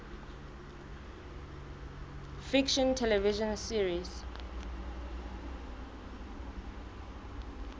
fiction television series